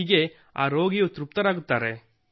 ಹೀಗೆ ಆ ರೋಗಿಯೂ ತೃಪ್ತರಾಗಿರುತ್ತಾರೆ